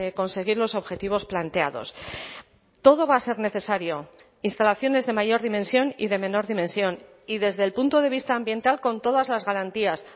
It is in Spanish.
conseguir los objetivos planteados todo va a ser necesario instalaciones de mayor dimensión y de menor dimensión y desde el punto de vista ambiental con todas las garantías